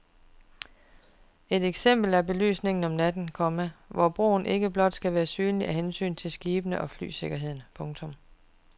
Et eksempel er belysningen om natten, komma hvor broen ikke blot skal være synlig af hensyn til skibene og flysikkerheden. punktum